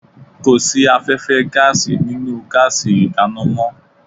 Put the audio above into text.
Kò sí afẹ́fẹ́ gáàsì nínú gáàsì ìdáná mọ́